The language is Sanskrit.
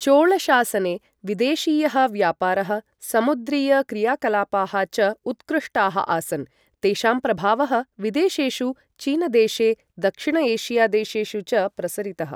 चोल शासने विदेशीय़ः व्यापारः, समुद्रीय क्रियाकलापाः च उत्कृष्टाः आसन्, तेषां प्रभावः, विदेशेषु चीनदेशे दक्षिण एशिया देशेषु च प्रसरितः।